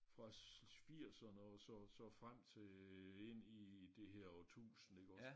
Fra firserne og så så frem til øh ind i det her årtusind iggås